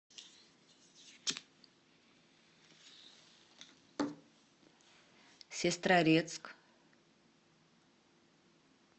сестрорецк